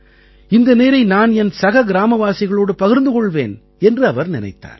இந்த நீரை நான் என் சக கிராமவாசிகளோடு பகிர்ந்து கொள்வேன் என்று அவர் நினைத்தார்